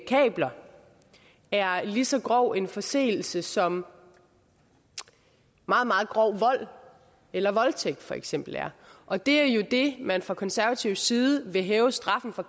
kabler er lige så grov en forseelse som meget meget grov vold eller voldtægt for eksempel er og det er jo det man fra konservativ side vil hæve straffen for